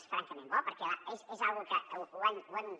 és francament bo perquè és una cosa que hem